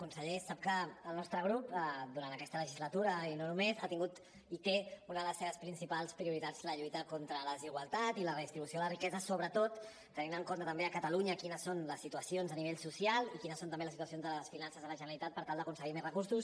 conseller sap que el nostre grup durant aquesta legislatura i no només ha tingut i té com una de les seves principals prioritats la lluita contra la desigualtat i la redistribució de la riquesa sobretot tenint en compte també a catalunya quines són les situacions a nivell social i quines són també les situacions de les finances de la generalitat per tal d’aconseguir més recursos